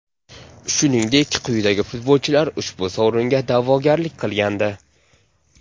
Shuningdek, quyidagi futbolchilar ushbu sovringa da’vogarlik qilgandi: !